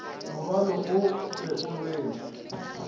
morwalo o be o rwelwe